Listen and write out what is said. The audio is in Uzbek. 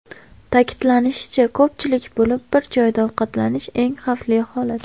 Ta’kidlanishicha, ko‘pchilik bo‘lib bir joyda ovqatlanish eng xavfli holat.